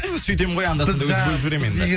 ту сөйтем ғой енді анда санда